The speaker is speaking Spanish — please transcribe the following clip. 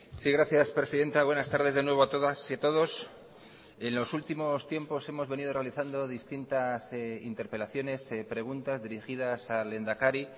sí gracias presidenta buenas tardes de nuevo a todas y todos en los últimos tiempos hemos venido realizando distintas interpelaciones preguntas dirigidas al lehendakari